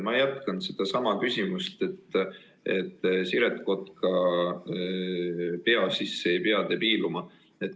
Ma jätkan sedasama küsimust, aga Siret Kotka pea sisse ei pea te piiluma.